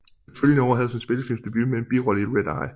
Det følgende år havde hun sin spillefilmsdebut med en birolle i Red Eye